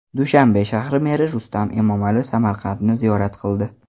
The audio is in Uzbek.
Dushanbe shahri meri Rustam Emomali Samarqandni ziyorat qildi .